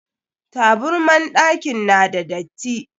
Taburman ɗakin na da datti.